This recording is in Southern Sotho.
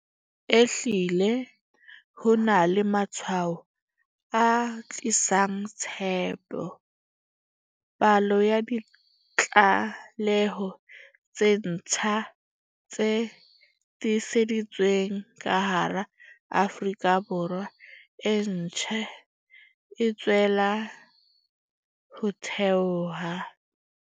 Ehlile ho na le matshwao a tlisang tshepo. Palo ya ditlaleho tse ntjha tse tiiseditsweng ka hara Afrika Borwa e ntse e tswella ho theoha.